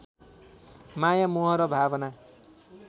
माया मोह र भावना